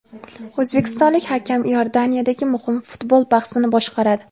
O‘zbekistonlik hakam Iordaniyadagi muhim futbol bahsini boshqaradi.